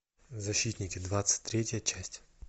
защитники двадцать третья часть